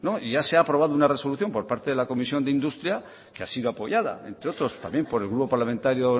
ya se ha aprobado una resolución por parte de la comisión de industria que ha sido apoyada entre otros también por el grupo parlamentario